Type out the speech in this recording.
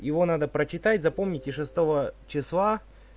его надо прочитать запомните шестого числа